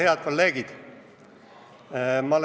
Head kolleegid!